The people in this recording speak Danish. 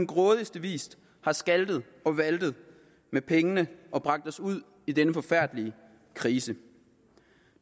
grådigste vis har skaltet og valtet med pengene og bragt os ud i denne forfærdelige krise